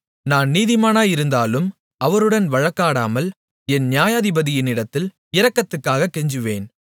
நான் நீதிமானாயிருந்தாலும் அவருடன் வழக்காடாமல் என் நியாயாதிபதியினிடத்தில் இரக்கத்துக்காகக் கெஞ்சுவேன்